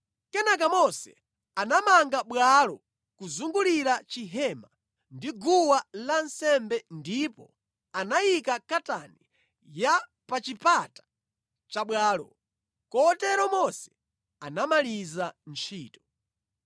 Kenaka Mose anamanga bwalo kuzungulira chihema ndi guwa lansembe ndipo anayika katani ya pa chipata cha bwalo. Kotero Mose anamaliza ntchito.